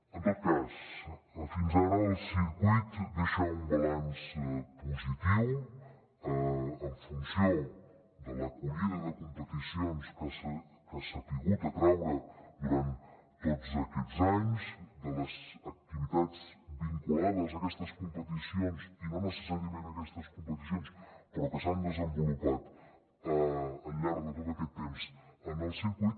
en tot cas fins ara el circuit deixa un balanç positiu en funció de l’acollida de competicions que ha sabut atraure durant tots aquests anys de les activitats vinculades a aquestes competicions i no necessàriament a aquestes competicions però que s’han desenvolupat al llarg de tot aquest temps en el circuit